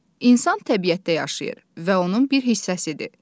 İnsan təbiətdə yaşayır və onun bir hissəsidir.